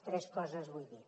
tres coses vull dir